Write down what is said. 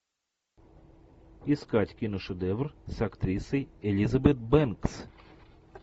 искать киношедевр с актрисой элизабет бэнкс